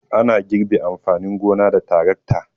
Ana girbe amfanin gona da tarakta.